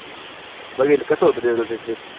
कस होत तेवाच ते trip?